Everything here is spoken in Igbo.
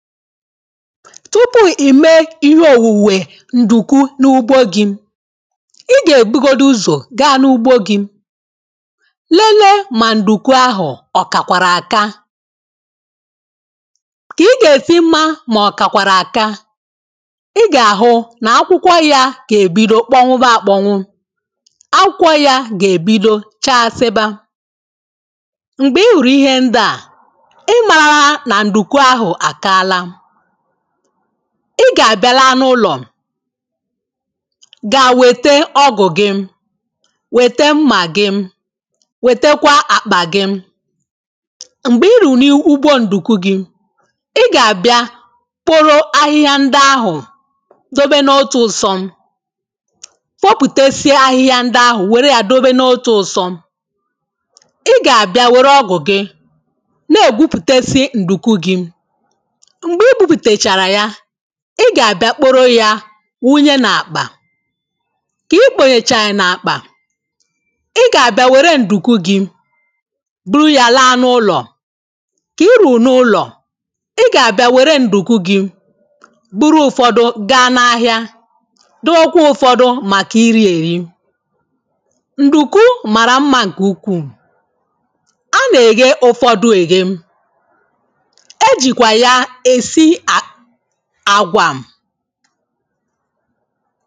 tupu ìmee ihe òwùwe nduku n’ugbo gị̇ i gà-èbugodi uzò gaa n’ugbo gi̇ lelee mà nduku ahụ̀ ọ̀kàkwàrà àka kà i gà-èsi mma mà ọ̀kàkwàrà àka i gà-àhụ nà akwụkwọ ya gà-èbido kpọ nwụba àkpọnwụ akwụkwọ ya gà-èbido chaa asịba m̀gbè i hụ̀rụ̀ ihe ndi à ịmaala na nduku ahụ a kaala. Ị gà-àbịala anụ ụlọ̀ ga-wète ọgụ̀ gị wète mmà gị wètekwa àkpà gị m̀gbè i rùrù n’ugbo ǹdùku gị̇ ị gà-àbịa kporo ahịhịa ndị ahụ̀ dobe n’otu ụsọ̇ fopùtesie ahịhịa ndị ahụ̀ wère yȧ dobe n’otu ụ̇sọ̇ ị gà-àbịa wère ọgụ̀ gị na-igwuputasi ǹdùku gị̇. Mgbe igwuputasi ya ị gà-àbịa kporo yȧ wunye nà-àkpà kìi kpònyèchàà nà-àkpà ị gà-àbịa wère ǹdùku gị̇ buru yȧ laa n’ụlọ̀ kìi rùrù n’ụlọ̀ ị gà-àbịa wère ǹdùku gị̇ buru ụfọdụ̇, gaa n’ahịa dowekwa ụfọdụ̇ màkà iri èri ǹdùku màrà mma ǹkè ukwuù a nà-èye ụfọdụ̇ èye. E jikwaa ya esi àgwà